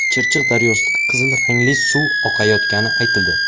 Chirchiq daryosida qizil rangli suv oqayotgani aytildi.